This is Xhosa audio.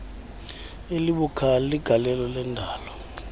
elibukhali legalelo lendalo